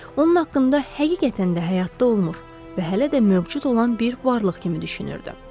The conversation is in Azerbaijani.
Onun haqqında həqiqətən də həyatda olmur və hələ də mövcud olan bir varlıq kimi düşünürdü.